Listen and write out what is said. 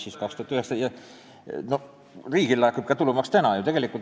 Tulumaks laekub ju riigile ka praegu.